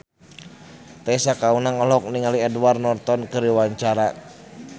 Tessa Kaunang olohok ningali Edward Norton keur diwawancara